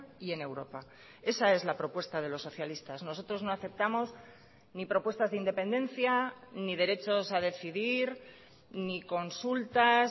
y en europa esa es la propuesta de los socialistas nosotros no aceptamos ni propuestas de independencia ni derechos a decidir ni consultas